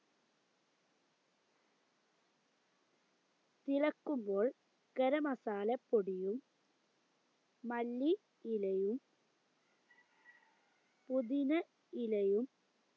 ഇളക്കുമ്പോൾ ഗരമസാല പൊടിയും മല്ലി ഇലയും പുതിന ഇലയും